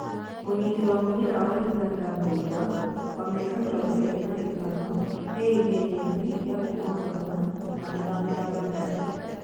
Mũnyiti wa mũbira wa Ũganda Mbugua, wa mĩaka mĩrongo ĩrĩ na ĩtano e ihenyaĩnĩ rĩa kuma Muranga na gũthamĩra bandari